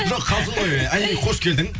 жоқ қалжын ғой айри қош келдің